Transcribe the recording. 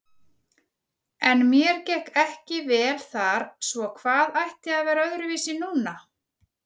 En mér gekk ekki vel þar, svo hvað ætti að vera öðruvísi núna?